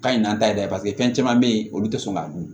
Ka ɲi an ta ye dɛ paseke fɛn caman bɛ yen olu tɛ sɔn k'a dun